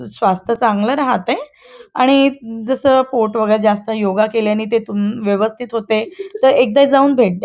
स्वास्थ चांगला राहातोय आणि जसं पोट वगैरे जास्त योगा केल्याने तेथून व्यवस्थित होतय तर एकदा जाऊन भेट द्या.